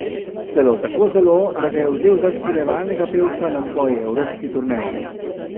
Celo tako zelo, da ga je vzel za spremljevalnega pevca na svoji evropski turneji.